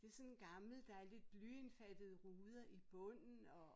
Det sådan gammel der lidt blyindfattede ruder i bunden og